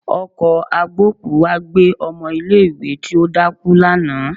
Ọkọ̀ agbókùú wá gbé ọmọ ilé ìwé tí ó dákú lánàá